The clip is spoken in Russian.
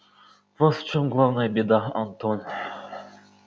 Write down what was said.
вот в чём главная беда антон